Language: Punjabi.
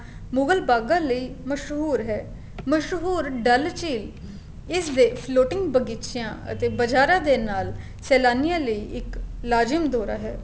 ਮੁਗ਼ਲ ਭਾਗਣ ਲਈ ਮਸ਼ਹੂਰ ਹੈ ਮਸ਼ਹੂਰ ਡੱਲ ਝੀਲ ਇਸ ਦੇ floating ਬਗੀਚਿਆਂ ਅਤੇ ਬਜ਼ਾਰਾ ਦੇ ਨਾਲ ਸੇਲਾਨੀਆਂ ਲਈ ਇੱਕ ਲਾਜੀਮ ਦੋਰਾ ਹੈ